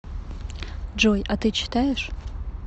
джой а ты читаешь